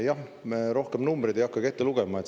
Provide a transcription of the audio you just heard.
Ma rohkem numbreid ei hakkagi ette lugema.